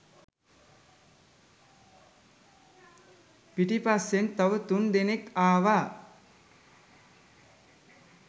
පිටිපස්සෙන් තව තුන් දෙනෙක් ආවා